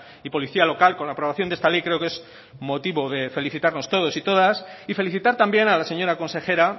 y policía local con la aprobación de esta ley creo que es motivo de felicitarnos todos y todas y felicitar también a la señora consejera